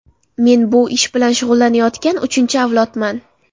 Men bu ish bilan shug‘ullanayotgan uchinchi avlodman.